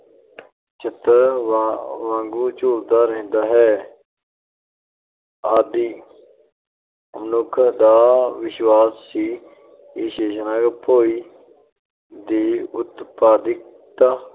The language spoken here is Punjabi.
ਛੁਤਰ ਵਾਂਗ ਝੂਲਦਾ ਰਹਿੰਦਾ ਹੈ । ਆਦਿ ਮਨੁੱਖ ਦਾ ਵਿਸ਼ਵਾਸ ਸੀ ਕਿ ਸ਼ੇਸ਼ਨਾਗ ਭੋਇ ਦੀ ਉਤਪਾਦਿਕਤਾ